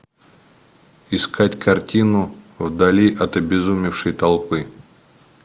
искать картину вдали от обезумевшей толпы